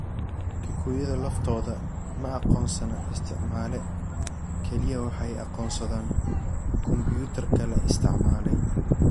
Kukiyada laftoodu ma aqoonsana isticmaale, kaliya waxay aqoonsadaan kumbuyuutarka la isticmaalay.